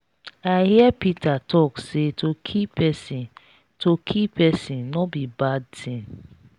i hear peter talk say to kill person to kill person no be bad thing.